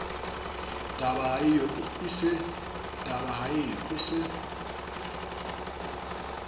tuba ha eo a se